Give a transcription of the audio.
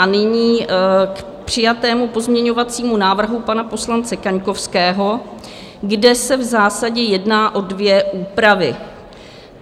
A nyní k přijatému pozměňovacímu návrhu pana poslance Kaňkovského, kde se v zásadě jedná o dvě úpravy.